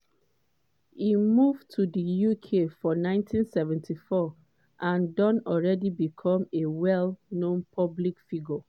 e move to di uk for 1974 and don already become a well-known public figure